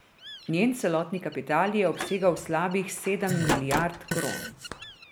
Njen celotni kapital je obsegal slabih sedem milijard kron.